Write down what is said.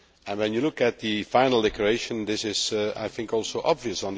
When you look at the final declaration this is, I think, also obvious.